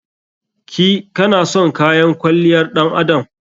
Ki/ka na son kayan kwalliyar ɗan adam?